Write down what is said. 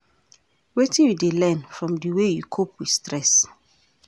Wetin you dey learn from di way you cope with stress?